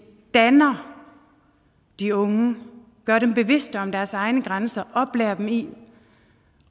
danner de unge gør dem bevidste om deres egne grænser og oplærer dem i